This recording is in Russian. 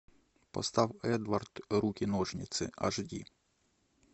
поставь эдвард руки ножницы аш ди